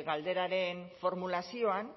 galderaren formulazioan